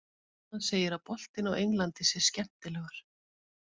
Hann segir að boltinn á Englandi sé skemmtilegur.